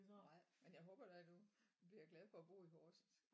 Nej men jeg håber da du du bliver glad for at bo i Horsens